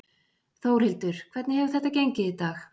Þórhildur: Hvernig hefur þetta gengið í dag?